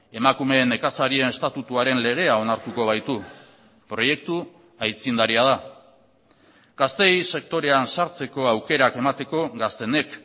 emakume nekazarien estatutuaren legea onartuko baitu proiektu aitzindaria da gazteei sektorean sartzeko aukerak emateko gaztenek